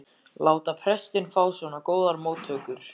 láta prestinn fá svona góðar móttökur.